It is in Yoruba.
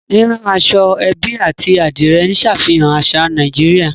Rírán aṣọ-ẹ́bí àti Adìrẹ̀ ń ṣàfihàn àṣà Nàìjíríà